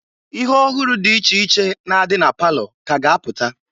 Ihe ọhụrụ dị iche iche na-adi na palọ ka ga apụta.